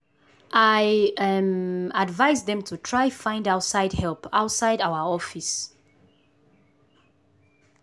i um advice dem to try find outside help outside our office.